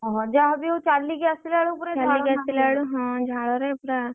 ଓହୋ ଯାହାବି ହଉ ଚାଲିକି ଆସିଲା ବେଳକୁ ଝାଲ ନାଳ ଚାଲିକି ଆସିଲା ବେଳକୁ ହଁ ଝାଳରେ ପୁରା।